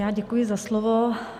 Já děkuji za slovo.